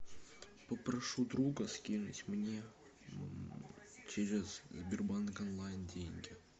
попрошу друга скинуть мне через сбербанк онлайн деньги